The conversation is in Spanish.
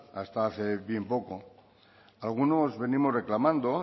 hasta hace bien poco algunos venimos reclamando